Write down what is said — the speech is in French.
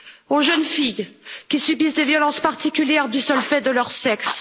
aux jeunes filles qui subissent des violences particulières du seul fait de leur sexe